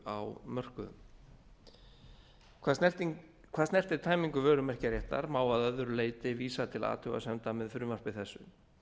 á mörkuðum hvað snertir tæmingu vörumerkjaréttar má að öðru leyti vísa til athugasemda með frumvarpi þessu